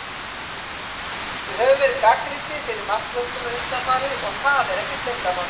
Við höfum verið gagnrýndir fyrir markvörsluna undanfarið, og það er ekkert leyndarmál.